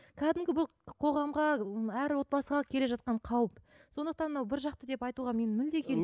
кәдімгі бұл қоғамға ы әр отбасыға келе жатқан қауіп сондықтан мынау бір жақты деп айтуға мен мүлде